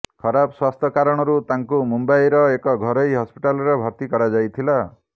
ଖରାପ ସ୍ୱାସ୍ଥ୍ୟ କାରଣରୁ ତାଙ୍କୁ ମୁମ୍ବାଇର ଏକ ଘରୋଇ ହସପିଟାଲରେ ଭର୍ତି କରାଯାଇଥିଲା